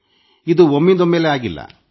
ಇದು ಒಮ್ಮಿಂದೊಮ್ಮೆಲೇ ಆದದ್ದಲ್ಲ